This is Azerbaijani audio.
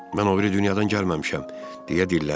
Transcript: Mən o biri dünyadan gəlməmişəm, deyə dilləndim.